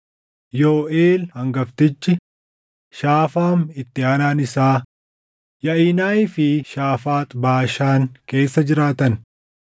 Yooʼeel hangaftichi, Shaafaam itti aanaan isaa, Yaʼinayii fi Shaafaax Baashaan keessa jiraatan.